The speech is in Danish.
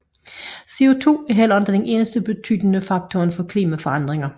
CO2 er heller ikke den eneste betydende faktor for klimaforandringer